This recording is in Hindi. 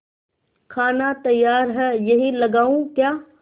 खाना तैयार है यहीं लगाऊँ क्या